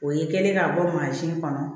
O ye kɛlen ka bɔ mansin kɔnɔ